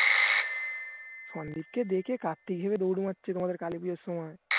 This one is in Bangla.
সন্দীপকে দেখে কার্তিক ভেবে দৌড় মারছে তোমাদের কালীপূজার সময়